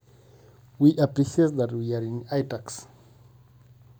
Kiata enashei amu ketii iTax